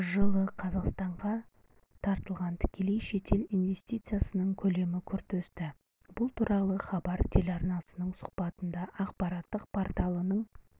жылы қазақстанға тартылған тікелей шетел инвестициясының көлемі күрт өсті бұл туралы хабар телеарнасына сұхбатында ақпараттық порталының